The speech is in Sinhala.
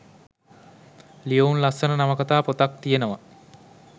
ලියවුනු ලස්සන නවකතා පොතක් තියෙනව